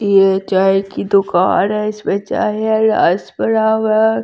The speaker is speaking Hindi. ये चाय की दुकान है इसमें चाय है रास पड़ा हुआ--